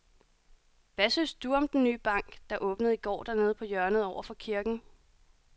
Hvad synes du om den nye bank, der åbnede i går dernede på hjørnet over for kirken?